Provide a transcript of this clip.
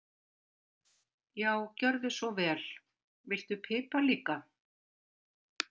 Já, gjörðu svo vel. Viltu pipar líka?